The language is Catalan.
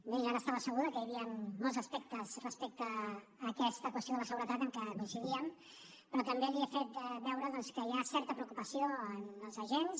bé ja n’estava segur que hi havia molts aspectes respecte a aquesta qüestió de la seguretat en què coincidíem però també li he fet veure doncs que hi ha certa preocupació en els agents